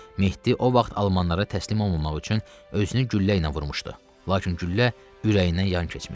Mehdi o vaxt almanlara təslim olmamaq üçün özünü güllə ilə vurmuşdu, lakin güllə ürəyindən yan keçmişdi.